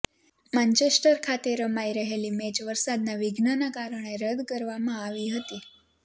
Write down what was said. Manchester ખાતે રમાઈ રહેલી મૅચ વરસાદના વિઘ્નને કારણે રદ કરવામાં આવી હતી